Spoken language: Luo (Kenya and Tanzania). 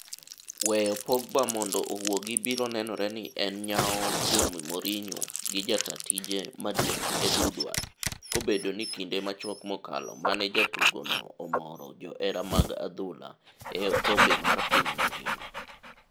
Weyo Pogba mondo owuogi biro nenore ni en nyao kuom Mourinho gi jataa tije maduong' Ed Woodward, kobedo ni kinde machuok mokalo mane jatugo noomoro johera mag adhula e okombe mar piny mangima.